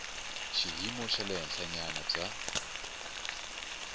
xiyimo xa le henhlanyana bya